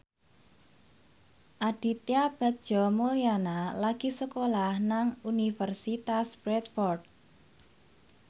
Aditya Bagja Mulyana lagi sekolah nang Universitas Bradford